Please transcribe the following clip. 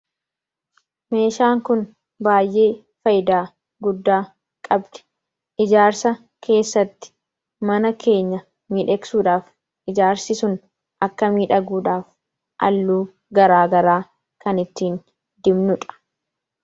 meeshaan kun baay'ee fayidaa guddaa qabdi. Ijaarsa keessatti mana keenya miidhegsuudhaaf ijaarsi sun akka miidhagduudhaaf halluu garaagaraa kan ittiin dibnuudha.